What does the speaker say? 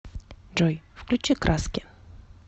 джой включи краски